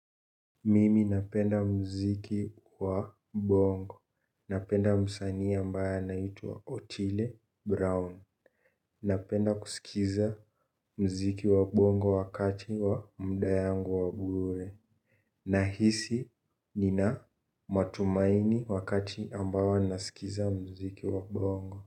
Mimi napenda mziki wa bongo. Napenda msanii ambaye anaitwa Otile Brown. Napenda kusikiza mziki wa bongo wakati wa muda yangu wa bure. Nahisi nina matumaini wakati ambao nasikiza mziki wa bongo.